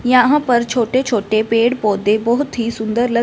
यहां पर छोटे छोटे पेड़ पौधे बहोत ही सुंदर लग--